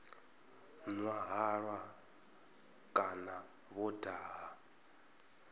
nwa halwa kana vho daha